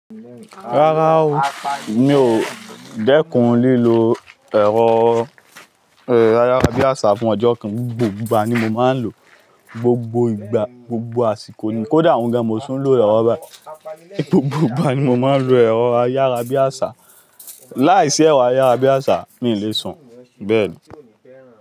Rárá o, mi ò dẹ́kun lílo ẹ̀rọ ayárabíàṣá fún ọjọ́ kan, gbogbo ìgbà ni mo máa ń lò ó, gbogbo ìgbà, gbogbo àsìkò ni, kó dà ohùn gan, mo tún lo lowọ báyìí. Gbogbo ìgbà ni mo máa ń lo ẹ̀rọ ayárabíàṣá, láìsí ẹ̀rọ ayárabíàṣá mi ò lè sùn, bẹ́ẹ̀ni.